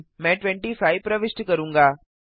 मैं 25 प्रविष्ट करूंगा